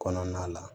Kɔnɔna la